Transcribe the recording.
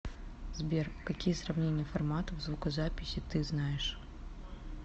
сбер какие сравнение форматов звукозаписи ты знаешь